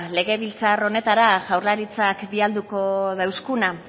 legebiltzar honetara jaurlaritzak bidaliko dauskuna